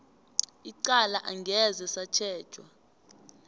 icala angeze satjhejwa